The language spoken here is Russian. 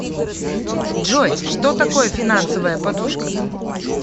джой что такое финансовая подушка